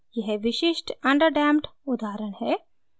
यह विशिष्ट underdamped उदाहरण है